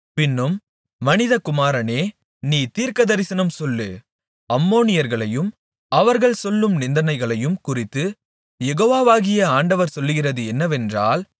பின்னும் மனிதகுமாரனே நீ தீர்க்கதரிசனம் சொல்லு அம்மோனியர்களையும் அவர்கள் சொல்லும் நிந்தனைகளையும் குறித்துக் யெகோவாகிய ஆண்டவர் சொல்லுகிறது என்னவென்றால்